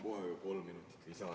Palun kohe kolm minutit lisaaega.